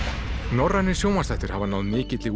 norrænir sjónvarpsþættir hafa náð mikilli